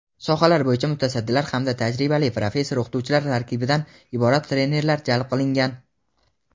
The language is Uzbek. sohalar bo‘yicha mutasaddilar hamda tajribali professor-o‘qituvchilar tarkibidan iborat trenerlar jalb qilingan.